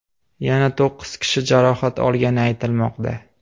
Yana to‘qqiz kishi jarohat olgani aytilmoqda.